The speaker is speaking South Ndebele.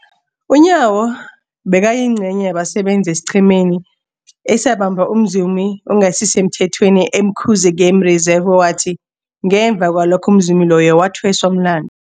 UNyawo bekayingcenye yabasebenza esiqhemeni esabamba umzumi ongasisemthethweni e-Umkhuze Game Reserve, owathi ngemva kwalokho umzumi loyo wathweswa umlandu.